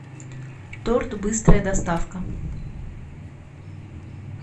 торт быстрая доставка